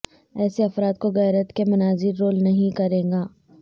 ایسے افراد کو غیرت کے مناظر رول نہیں کرے گا